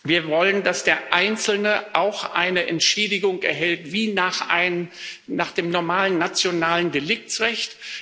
Wir wollen, dass der Einzelne auch eine Entschädigung erhält wie nach dem normalen nationalen Deliktsrecht.